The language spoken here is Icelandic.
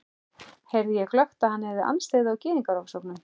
heyrði ég glöggt, að hann hafði andstyggð á Gyðingaofsóknunum.